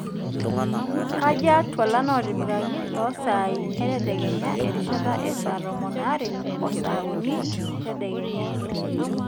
kaaja twalan otipikaki losaai etadekenya erishata esaa tomon aare oo saa uni tadekenya